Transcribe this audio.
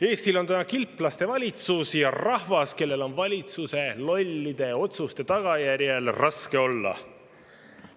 Eestil on täna kilplaste valitsus ja rahvas, kellel on valitsuse lollide otsuste tagajärjel raske olla.